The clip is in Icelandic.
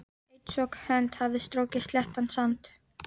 Einsog hönd hafi strokið sléttan sand.